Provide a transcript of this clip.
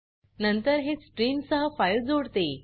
नंतर हे स्ट्रीम सह फाइल जोडते